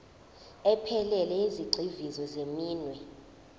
ephelele yezigxivizo zeminwe